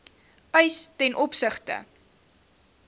eis ten opsigte